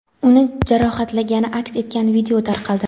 uni jarohatlagani aks etgan video tarqaldi.